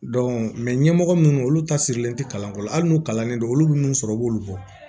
ɲɛmɔgɔ minnu olu tasirilen tɛ kalanko la hali n'u kalannen don olu bɛ minnu sɔrɔ u b'olu bɔ